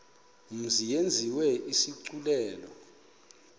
mzi yenziwe isigculelo